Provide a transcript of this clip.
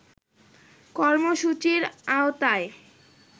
কর্মসূচির আওতায়